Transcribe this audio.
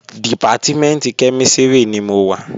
Dìpátímẹ̀ntì kẹ́mísìrì ni mo wà